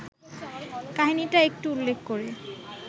কাহিনিটা একটু উল্লেখ করে